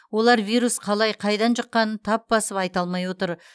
олар вирус қалай қайдан жұққанын тап басып айта алмай отыр